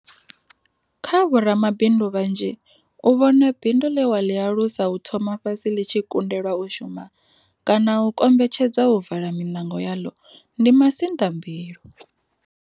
Kha vho ramabindu vhanzhi, u vhona bindu ḽe wa ḽi alusa u thoma fhasi ḽi tshi kundelwa u shuma, kana u kombetshedzwa u vala minango yaḽo, ndi masinḓambilu.